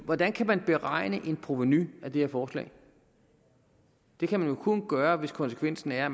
hvordan kan man beregne et provenu af det her forslag det kan man jo kun gøre hvis konsekvensen er at